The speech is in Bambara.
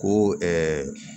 Ko